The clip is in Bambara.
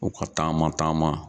U ka taama taama.